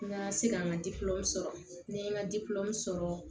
N ka se ka n ka sɔrɔ ne ye n ka sɔrɔ